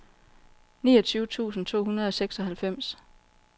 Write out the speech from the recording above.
niogtyve tusind to hundrede og seksoghalvfems